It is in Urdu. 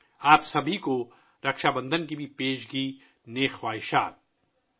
آپ سب کو بھی رکھشا بندھن کی پیشگی مبارکباد